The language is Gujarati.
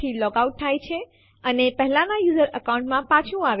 ટેસ્ટ અંદરના સમાવિષ્ટો જોવા માટે લખો એલએસ ટેસ્ટ અને Enter દબાવો